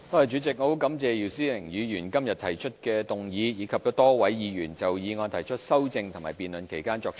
主席，我很感謝姚思榮議員今天提出議案，以及多位議員就議案提出修正案並在辯論期間作出發言。